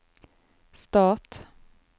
stat